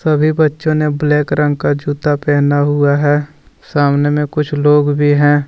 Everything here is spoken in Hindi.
सभी बच्चों ने ब्लैक रंग का जूता पहना हुआ है सामने में कुछ लोग भी हैं।